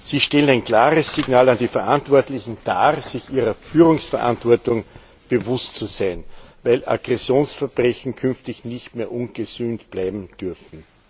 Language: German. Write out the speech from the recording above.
Sie stellen ein klares Signal an die Verantwortlichen dar, sich ihrer Führungsverantwortung bewusst zu sein, weil Aggressionsverbrechen künftig nicht mehr ungesühnt bleiben dürfen.